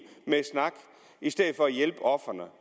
med snak i stedet for at hjælpe ofrene